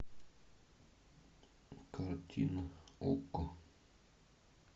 картина окко